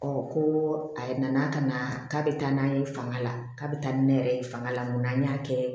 ko a nana ka na k'a bɛ taa n'a ye fanga la k'a bɛ taa ni ne yɛrɛ ye fanga la n kun an y'a kɛ